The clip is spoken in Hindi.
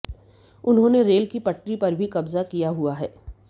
उन्होंने रेल की पटरी पर भी कब्जा किया हुआ है